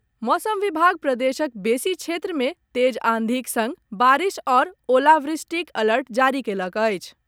मैसम विभाग प्रदेशक बेसी क्षेत्र मे तेज आंधीक संग बारिस आओर ओलावृष्टिक अलर्ट जारी कयलक अछि।